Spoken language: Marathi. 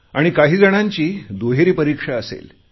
आणि काही जणांची दुहेरी परीक्षा असेल